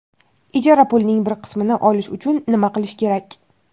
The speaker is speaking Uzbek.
Ijara pulining bir qismini olish uchun nima qilish kerak?.